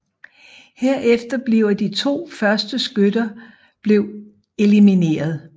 Herefter bliver de to første skytter blev elimineret